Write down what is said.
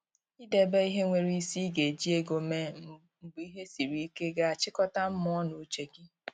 I debe ihe nwere isi I ga eji ego mee mgbe ihe siri ike ga a chịkọta mmụọ na uche gi